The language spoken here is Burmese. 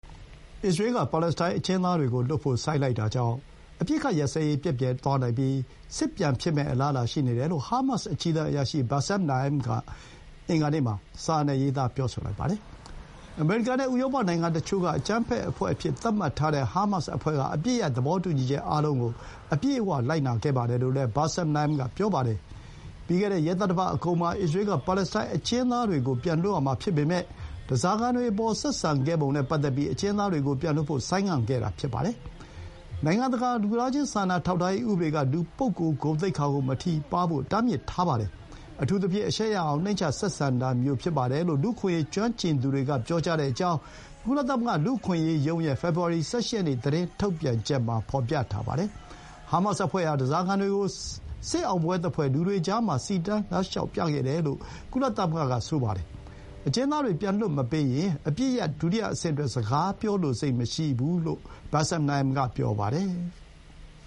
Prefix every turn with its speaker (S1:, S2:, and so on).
S1: အစ္စရေးလ်က ပါလက်စတိုင်း အကျဥ်းသားတွေကိုလွှတ်ဖို့ ဆိုင်းလိုက်တာဟာ အပစ်အခတ်ရပ်စဲရေး ပျက်ပျယ်သွားနိုင်ပြီး စစ်ထဲပြန်သွားရမယ့် အလားအလာ ရှိနေတယ်လို့ ဟားမတ်စ် အကြီးတန်းအရာရှိ Bassem Naim က စာနဲ့ရေးသား ပြောဆိုလိုက်ပါတယ်။ အမေရိကန်နဲ့ ဥရောပနိုင်ငံတချို့က အကြမ်းဖက်အဖွဲ့အဖြစ် သတ်မှတ်ထားတဲ့ ဟားမတ်စ်အဖွဲ့က အပစ်ရပ် သဘောတူညီချက် အားလုံးကို အပြည့်အဝ လိုက်နာခဲ့တယ်လို့လည်း Bassem Naim က ပြောပါတယ်။ ပြီးခဲ့တဲ့ ရက်သတ္တပတ်အကုန်မှာ အစ္စရေးလ်က ပါလက်စတိုင်း အကျဥ်းသားတွေကို ပြန်လွှတ်ရမှာ ဖြစ်ပေမဲ့ ဓားစာခံတွေအပေါ် ဆက်ဆံပုံနဲ့ပတ်သက်ပြီး အကျဥ်းသားတွေကို ပြန်လွှတ်ဖို့ ဆိုင်းငံ့ခဲ့တာ ဖြစ်ပါတယ်။ နိုင်ငံတကာ လူသားချင်း စာနာထောက်ထားရေးဥပဒေက လူပုဂ္ဂိုလ် ဂုဏ်သိက္ခာကို မထိပါးဖို့ တားမြစ်ထားပါတယ်။ အထူးသဖြင့် အရှက်ရအောင် နှိမ့်ချ ဆက်ဆံတာမျိုး ဖြစ်ပါတယ်လို့ လူ့အခွင့်အရေး ကျွမ်းကျင်သူတွေကပြောကြောင်း ကုလသမဂ္ဂ လူ့အခွင့်အရေးရုံးရဲ့ ဖေဖော်ဝါရီလ ၁၈ ရက်နေ့ သတင်းထုတ်ပြန်ချက်မှာ ဖော်ပြထားပါတယ်။ ဟားမတ်စ်အဖွဲ့ဟာ ဓားစာခံတွေကို စစ်အောင်ပွဲသဖွယ် လူတွေကြားမှာ စီတန်းလမ်းလျှောက် ပြခဲ့တယ်လို့လည်း ကုလသမဂ္ဂက ပြောပါတယ်။ ဒီအတွက် အစ္စရေးလ်က လွှတ်ရမယ့် ပါလက်စတိုင်း အကျဥ်းသား ၆၀၀ ကျော်ကို မလွှတ်ပေးသေးဘဲ ဆိုင်းငံ့ထားခဲ့တာ ဖြစ်ပါတယ်။ အကျဥ်းသားတွေ ပြန်လွှတ်မပေးရင် စကားပြောလိုစိတ်မရှိလို့ Bassem Naim က ပြောပါတယ်။